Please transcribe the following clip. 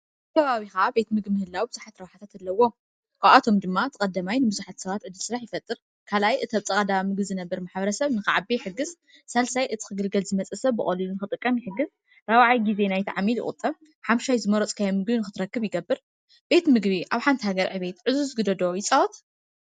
ኣብ ከባቢካ ቤት ምግቢ ምህላው ቡዝሓት ረብሓታት ኣለዎ ካብኣቶም ድማ ቀዳማይ ብዙሓት ሰባት ዕደል ስራሕ ይፈጥር ካልኣይ እቲ ኣብጥቃ ዳ ምግቢ ዝነበር ማሕበረሰብ ንክዓቢ ይሕግዝ ሳልሳይ እቲ ክግልገል ዝመፅእ ሰብ ብቀሊሉ ንክጥቀም ይሕግዝ ራብዓይ ዜ ናይቲ ዓሚል ይቁጥብ ሓምሻይዝመረፅካዮ ምግቢ ንክትረክብ ይገበር ቤት ምግቢ ኣብ ሓንቲ ሃገር ዕዙዝ ግደ ዶ ይፃወት?